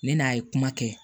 Ne n'a ye kuma kɛ